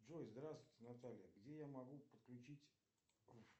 джой здравствуйте наталья где я могу подключить